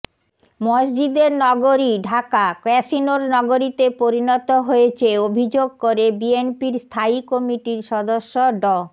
মসজিদের নগরী ঢাকা ক্যাসিনোর নগরীতে পরিণত হয়েছে অভিযোগ করে বিএনপির স্থায়ী কমিটির সদস্য ড